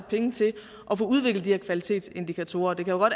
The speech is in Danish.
penge til at få udviklet de her kvalitetsindikatorer det kan jo